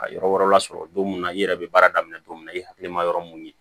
A yɔrɔ wɛrɛ lasɔrɔ don mun na i yɛrɛ bɛ baara daminɛ don min na i hakili ma yɔrɔ mun ye